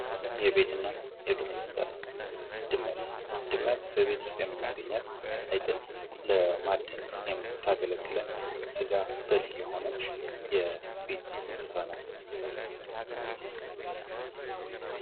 የቤትና የዱር እንስሳት ፦ ድመት፦ ድመት በቤት ውስጥ የምናገኛት ፣ አይጥን ለማደን የምታገለግለን፣ ስጋ በል የሆነች የቤት እንስሳ ናት ።